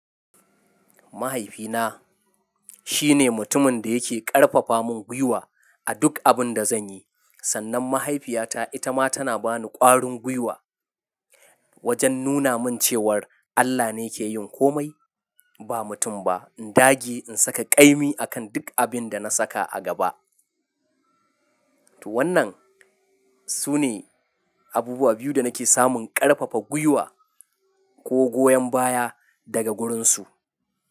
Mahaifina, shine mutumin da yake ƙarfafa min gwiwa a duk abin da zanyi. Sannan mahaifiyata ita ma tana bani ƙwarin gwiwa, wajen nuna min cewar Allah ne ke yin komai, ba mutum ba. In dage in saka ƙaimi akan duk abin da na saka a gaba. To wannan sune abubuwa biyu da nake samun ƙarfafa gwiwa ko goyon baya daga gurin su.